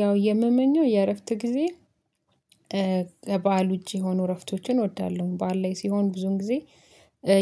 ያው የምመኘው የእረፍት ጊዜ ከበዓል ዉጪ የሆኑ እረፍቶችን እወዳለሁ። በዓል ላይ ሲሆን ብዙዉን ጊዜ